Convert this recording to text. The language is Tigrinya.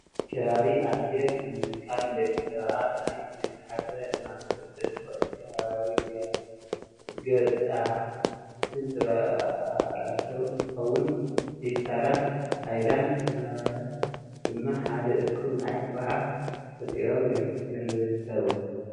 ከባቢ ኣየር ብምብካል ንደቂ ሰባተ ናብ ዘይተሓሰበ ሕማም ከብፅሕ ዝክእልን ከባብያዊ ገፅታን ዝበላሽው እንትከውን ፌስታላትን ሃይላድን ክምራት ድማ ሓደ እኩብ ናይ ጋሓፍ ፈጢሮም ይርከቡ።